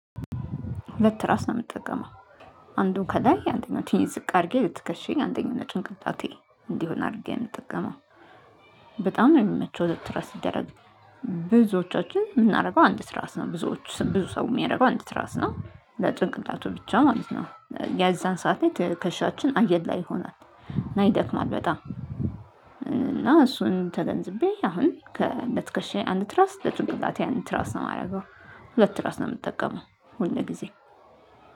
ሁለት ትራስ ነው ምትጠቀመው። አንዱ ከላይ አንደኛውን ትንሽ ዝቅ አድርጌ ለትከሻየ አንደኛውን ለጭንቅላቴ እንዲሆን አርጌ ነው ምጠቀመው። በጣም ነው የሚመቸው ሁለት ትራስ ሲደረግ። ብዙዎቻችን ምናረገው አንድ ትራስ ነው ብዙዎች ብዙ ሰው የሚያደርገው አንድ ትራስ ነው ለጭንቅላቱ ብቻ ማለት ነው። የዛን ሰዓት ላይ ትከሻችን አየር ላይ ይሆናል እና ይደክማል በጣም። እና እሱን ተገንዝቤ አሁን ከ ለትክሻየ አንድ ትራስ ለጭንቅላቴ አንድ ትራስ ነው የማደርገው። ሁለት ትራስ ነው የምጠቀመው ሁልጊዜ